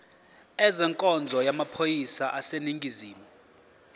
ezenkonzo yamaphoyisa aseningizimu